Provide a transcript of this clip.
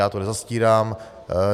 Já to nezastírám.